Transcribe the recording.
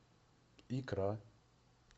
икра